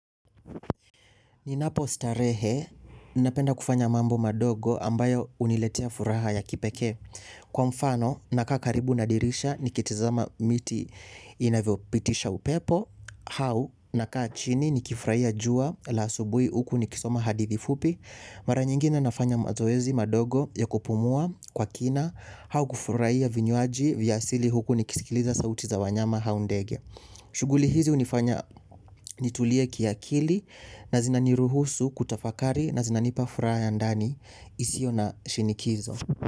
Ninapo starehe, ninapenda kufanya mambo madogo ambayo uniletea furaha ya kipekee. Kwa mfano, nakaa karibu na dirisha, nikitizama miti inavyopitisha upepo. Au, nakaa chini, nikifurahia jua la asubui huku nikisoma hadithi fupi. Mara nyingine nafanya mazoezi madogo ya kupumua kwa kina. Au kufurahia vinywaji vya asili huku nikisikiliza sauti za wanyama au ndege. Shughuli hizi unifanya nitulie kiakili na zinaniruhusu kutafakari na zinanipa furaha ya ndani isio na shinikizo.